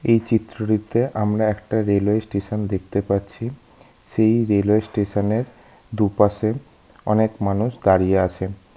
এই চিত্রটিতে আমরা একটা রেলওয়ে স্টেশন দেখতে পাচ্ছি সেই রেলওয়ে স্টেশন এর দুপাশে অনেক মানুষ দাঁড়িয়ে আছে।